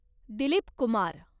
Dilip Kumar